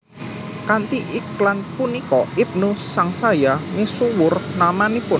Kanthi iklan punika Ibnu sangsaya misuwur namanipun